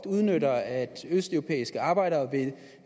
udnytter at østeuropæiske arbejdere